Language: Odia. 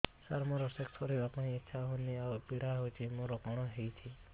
ସାର ମୋର ସେକ୍ସ କରିବା ପାଇଁ ଇଚ୍ଛା ହଉନି ଆଉ ପୀଡା ହଉଚି ମୋର କଣ ହେଇଛି